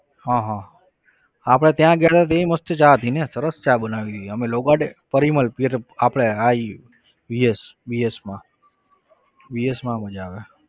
હા હા આપણે ત્યાં ગયા હતા ત્યાં મસ્ત ચા હતી ને સરસ ચા બનાવી અમે low garden પરિમલ આપણે હા એ VSVS માં VS માં મજા આવે.